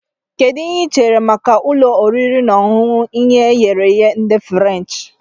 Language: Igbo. Kedu ihe ị chere maka ụlọ oriri na ọṅụṅụ ihe eghere ehe ndị furenchi